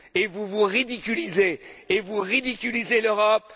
Vous vous ridiculisez et vous ridiculisez l'Europe.